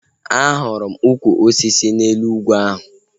Ahụrụ m ụkwụ osisi n'elu ugwu ahu